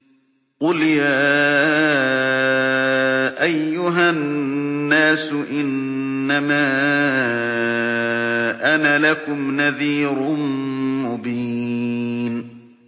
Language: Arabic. قُلْ يَا أَيُّهَا النَّاسُ إِنَّمَا أَنَا لَكُمْ نَذِيرٌ مُّبِينٌ